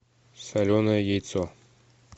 соленое яйцо